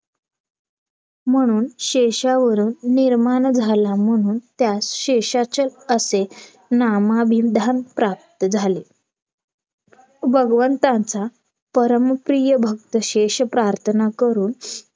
म्हणून शेषावरून निर्माण झाला म्हणून त्यास शेषाचल असे नामाविधांत प्राप्त झाले भगवंताचा परम प्रिय भक्त शेष प्रार्थना करून